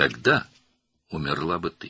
Elə isə sən öləcəkdin.